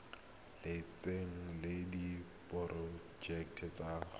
lotseno le diporojeke tsa go